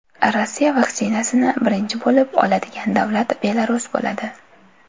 Rossiya vaksinasini birinchi bo‘lib oladigan davlat Belarus bo‘ladi .